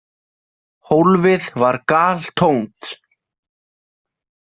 Hólfið var galtómt.